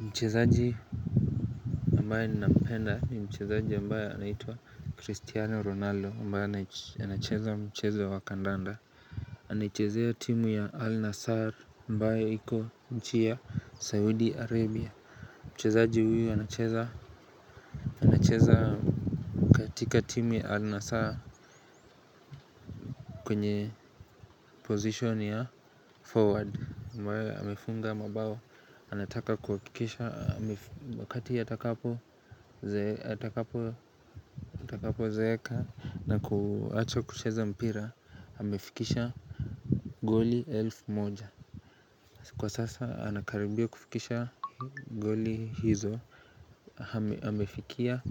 Mchezaji ambaye ninampenda ni mchezaji ambaye anaitwa Cristiano Ronaldo ambaye anacheza mchezo wa kandanda Anaichezea timu ya Al Nassar ambaye iko nchi ya Saudi Arabia Mchezaji huyu anacheza katika timu ya Al Nassar kwenye position ya forward, ambayo amefunga mabao, anataka kuhakikisha wakati atakapo zeeka na kuacha kucheza mpira, amefikisha Goli elfu moja Kwa sasa anakaribia kufikisha goli hizo Hamefikia